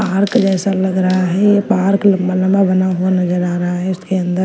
park जैसा लग रहा है ये पार्क लंबा-लंबा बना हुआ नजर आ रहा है इसके अंदर--